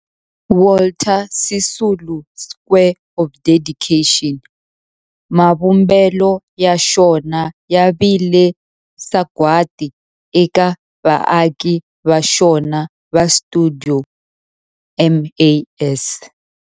Walter Sisulu Square of Dedication, mavumbelo ya xona ya vile sagwadi eka vaaki va xona va stuidio MAS.